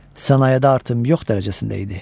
Sənayedə artım yox dərəcəsində idi.